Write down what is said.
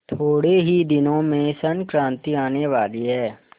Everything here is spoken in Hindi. थोड़े ही दिनों में संक्रांति आने वाली है